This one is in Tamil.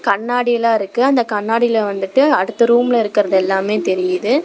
கண்ணாடிலா இருக்கு அந்த கண்ணாடில வந்துட்டு அடுத்த ரூம்ல இருக்கருதெல்லாமே தெரியிது.